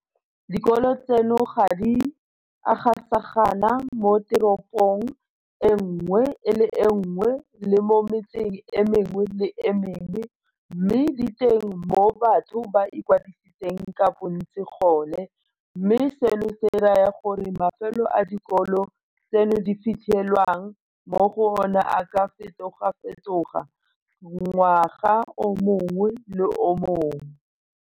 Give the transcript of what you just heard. Dikolo tseno ga di a gasagana moteropong e nngwe le e nngwe le mo metseng e mengwe le e mengwe, mme di teng mo batho ba ikwadisitseng ka bontsi gone, mme seno se raya gore mafelo a dikolo tseno di fitlhelwang mo go ona a ka fetogafetoga ngwaga o mongwe le o mongwe.